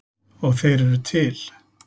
Og þeir eru til.